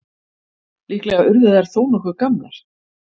Líklega urðu þær þó nokkuð gamlar.